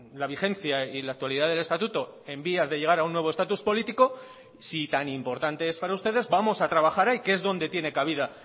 la vigencia y la actualidad del estatuto en vías de llegar a un nuevo estatus político si tan importante es para ustedes vamos a trabajar ahí que es donde tiene cabida